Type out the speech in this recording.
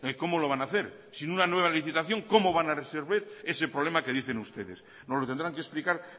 como lo van a hacer sin una nueva licitación cómo van a reservar ese problema que dicen ustedes nos lo tendrán que explicar